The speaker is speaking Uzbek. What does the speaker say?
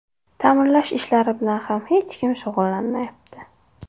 Ta’mirlash ishlari bilan ham hech kim shug‘ullanmayapti.